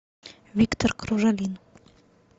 виктор кружалин